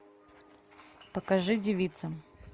покажи девица